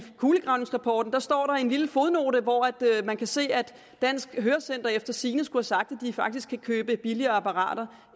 kulegravningsrapporten står en lille fodnote hvor man kan se at dansk hørecenter efter sigende skulle have sagt at de faktisk kan købe billigere apparater